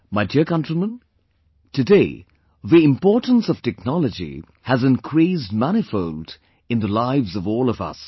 My dear countrymen, today the importance of technology has increased manifold in the lives of all of us